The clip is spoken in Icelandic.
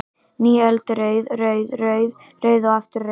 Ný öld er rauð, rauð, rauð, rauð, rauð og aftur rauð?